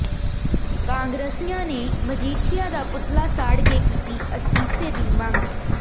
ਕਾਂਗਰਸੀਆਂ ਮਜੀਠੀਆ ਦਾ ਪੁਤਲਾ ਸਾੜ ਕੇ ਕੀਤੀ ਅਸਤੀਫ਼ੇ ਦੀ ਮੰਗ